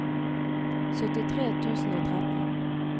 syttitre tusen og tretten